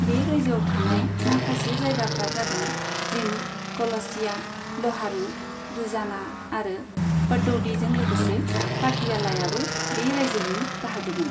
बे रायजोआव थानाय माखासे जायगाफ्रा जादों जीन्द, कलसिया, ल'हारू, दुजाना आरो पाटौदीजों लोगोसे पाटियालायाबो बे रायजोनि बाहागोमोन।